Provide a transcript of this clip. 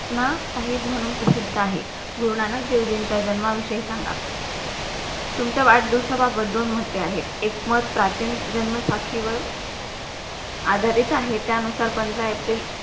ना साहिब मंहून प्रसिद्ध आहे. गुरुनानक देवजीं चा जन्मविशेष सांगा. तुमच्या वाढदिवसावा वाङधून मध्ये आहे. एकमत प्राचीन जन्म साखी वर आधारित आहे. त्या अनुश्वर पंधरा एप्रिल